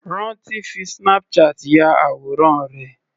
Ranti fi Snapchat ya àwòrán rẹ̀.